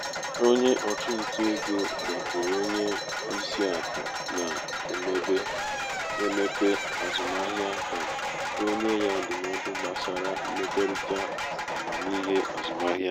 onye ọchụnta ego gakwuru onye isi akụ na-emepe azụmaahịa ka o nye ya ndụmọdụ gbasara mmekọrịta amamihe azụmahịa.